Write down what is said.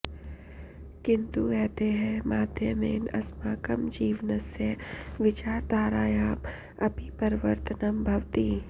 किन्तु एतैः माध्यमेन अस्माकं जीवनस्य विचारधारायाम् अपि परिवर्तनं भवति